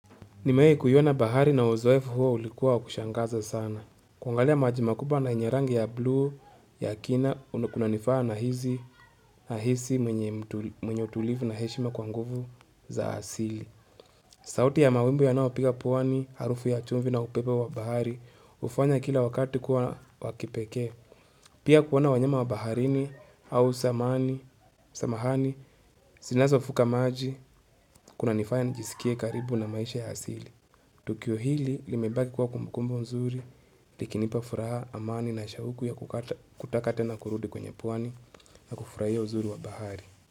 Nimewaikuiona bahari na uzoefu huo ulikuwa wa kushangaza sana. Kuangalia maji makubwa na yenye rangi ya blue ya kina kunanifaa nahisi mwenye utulivu na heshima kwa nguvu za asili. Sauti ya mawimbi yanayo piga pwani harufu ya chumvi na upepo wa bahari hufanya kila wakati kuwa wa kipekee. Pia kuona wanyama wa baharini au samahani zinazovuka maji kunanifaya nijisikie karibu na maisha ya asili. Tukio hili limebaki kuwa kumbukumbu mzuri, likinipa furaha amani na shauku ya kutaka tena kurudi kwenye pwani na kufurahia uzuri wa bahari.